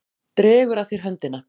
Dregur að þér höndina.